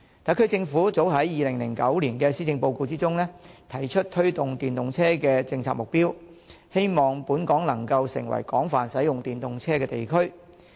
特區政府早於2009年度的施政報告中，已提出推動電動車的政策目標，希望本港能夠成為廣泛使用電動車的地區。